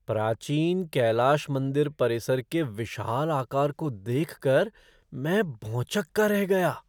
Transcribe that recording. प्राचीन कैलास मंदिर परिसर के विशाल आकार को देख कर मैं भौंचक्का रह गया!